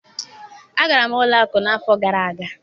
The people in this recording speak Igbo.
Agara m ụlọ akụ n'afọ gara aga